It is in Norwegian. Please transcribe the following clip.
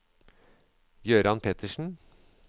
Gøran Pettersen